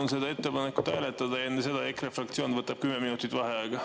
Ma palun ettepanekut hääletada ja enne seda võtab EKRE fraktsioon 10 minutit vaheaega.